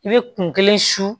I bɛ kun kelen su